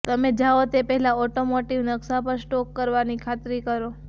તમે જાઓ તે પહેલા ઓટોમોટિવ નકશા પર સ્ટોક કરવાની ખાતરી કરો